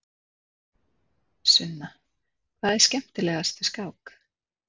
Sunna: Hvað er skemmtilegast við skák?